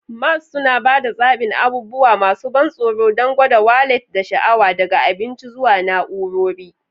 Malls suna ba da zaɓin abubuwa masu ban tsoro don gwada wallet da sha'awa, daga abinci zuwa na'urori.